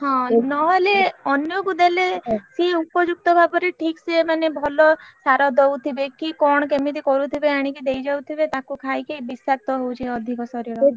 ହଁ ନହେଲେ ଅନ୍ୟକୁ ଦେଲେ ସିଏ ଉପଯୁକ୍ତ ଭାବରେ ଠିକ ସେ ମାନେ ଭଲ ସାର ଦଉଥିବେ କି କଣ କେମିତି କରୁଥିବେ ଆଣିକି ଦେଇ ଯାଉଥିବେ ତାକୁ ଖାଇକି ବିଷାକ୍ତ ହଉଛି ଅଧିକ ଶରୀର,